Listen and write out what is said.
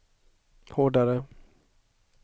hårdare